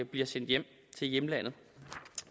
bliver sendt hjem til hjemlandet